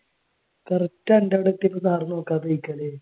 correct അൻ്റെ അടുത്തേക്ക് sir നോക്കാതെ ഇരിക്കല്